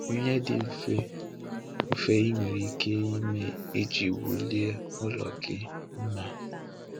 Ihe dị mfe mfe ị nwere ike ime iji welie ụlọ gị mma.